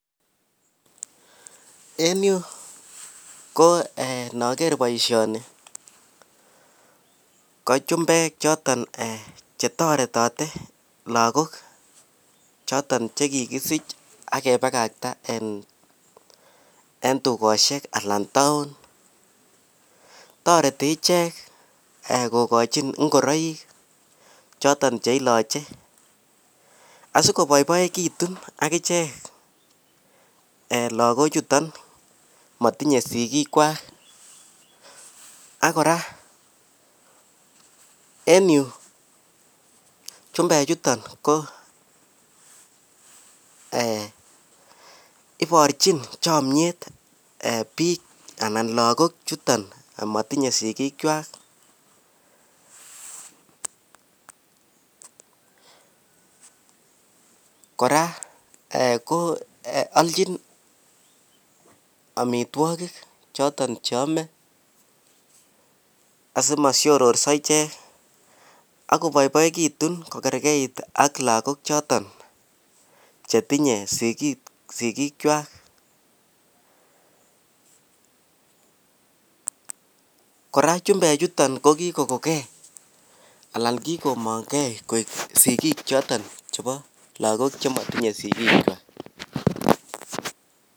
en yu ko eeh nogeer boishoni kochumbeek choton chetoretote lagook choton chegikisich ak kebagata en tugoshek alaan town, toreti icheek kogochin ingoroik choton cheioche asigoboiboitun ak ichek lagook chuton motinye sigiik kwaak ak koraa, en yu chumbechuton ko eeh iborchin chomyeet biik anan lagook chuton amotinye sigiik kwaak [pause}, koraa ko olchin omitwogik choton cheome asimosyororso ichek ak koboiboitun kogergeit ak lagook choton chetinye sigiik kwaak, kora chumbeek chuto ko kigogongee alan kigomongee koek sigiik choton chebo lagook chemotinye sigiik.